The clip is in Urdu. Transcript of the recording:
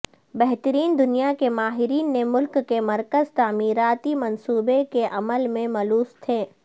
بہترین دنیا کے ماہرین نے ملک کے مرکزی تعمیراتی منصوبے کے عمل میں ملوث تھے